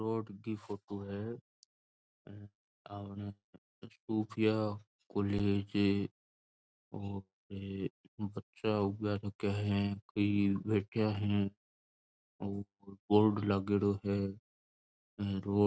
रोड की फोटो है आमणे सुफ़िया कॉलेज उपे बच्चा उबा है कोई बेठ्या है और बोर्ड लागेडो है और --